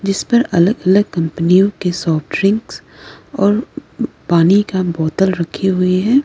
जिस पर अलग अलग कंपनियों के सॉफ्ट ड्रिंक्स और पानी का बोतल रखे हुए हैं।